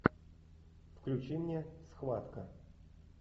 включи мне схватка